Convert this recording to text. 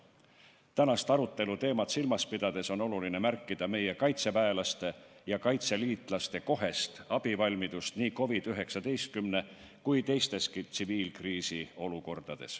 Tänast arutelu teemat silmas pidades on oluline märkida meie kaitseväelaste ja kaitseliitlaste kohest abivalmidust nii COVID-19 põhjustatud kui teisteski tsiviilkriisi olukordades.